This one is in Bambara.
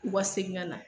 U ka segin ka na